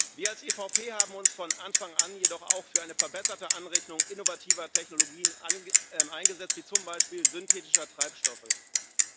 Wir als EVP haben uns von Anfang an jedoch auch für eine verbesserte Anrechnung innovativer Technologien wie zum Beispiel synthetischer Treibstoffe eingesetzt.